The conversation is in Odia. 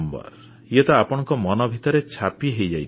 ଇଏ ତ ଆପଣଙ୍କ ମନ ଭିତରେ ଛାପି ହେଇଯାଇଥିବ